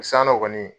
Sannɔ kɔni